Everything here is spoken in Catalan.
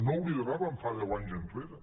no ho lideràvem fa deu anys enrere